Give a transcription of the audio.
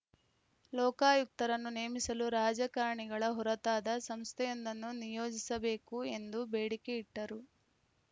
ಲೋಕಾಯುಕ್ತರನ್ನು ನೇಮಿಸಲು ರಾಜಕಾರಣಿಗಳ ಹೊರತಾದ ಸಂಸ್ಥೆಯೊಂದನ್ನು ನಿಯೋಜಿಸಬೇಕು ಎಂದು ಬೇಡಿಕೆ ಇಟ್ಟರು